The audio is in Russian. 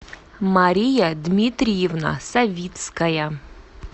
мария дмитриевна савицкая